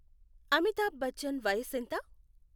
Amitabh Bachchan వయసెంత?